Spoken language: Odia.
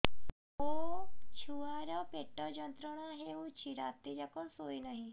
ମୋ ଛୁଆର ପେଟ ଯନ୍ତ୍ରଣା ହେଉଛି ରାତି ଯାକ ଶୋଇନାହିଁ